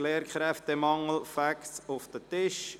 «Lehrkräftemangel – Facts auf den Tisch!».